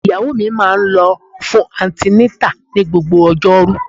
Ìyàwó mi máa ń lọ fún antenatal ní gbogbo ojoru.